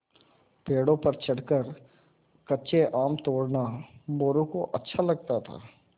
पेड़ों पर चढ़कर कच्चे आम तोड़ना मोरू को अच्छा लगता था